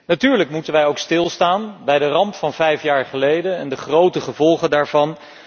Natuurlijk moeten wij stilstaan bij de ramp van vijf jaar geleden en de grote gevolgen daarvan.